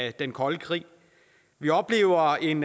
i den kolde krig vi oplever en